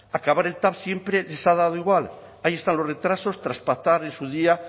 acabar el tav siempre les ha dado igual ahí están los retrasos tras pactar en su día